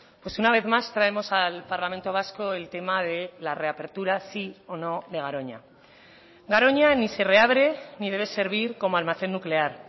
pues una vez más traemos al parlamento vasco el tema de la reapertura sí o no de garoña garoña ni se reabre ni debe servir como almacén nuclear